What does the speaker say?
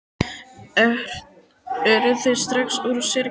Eru þau strax úr sér gengin?